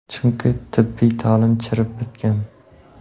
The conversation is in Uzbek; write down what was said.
Chunki tibbiy ta’lim chirib bitgan.